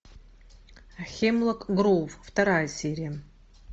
хемлок гроув вторая серия